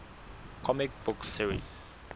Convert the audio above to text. comic book series